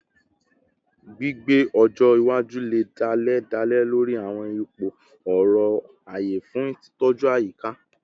Gbigbe ọjọ iwaju le dale dale lori awọn ipo ore-aye fun titọju ayika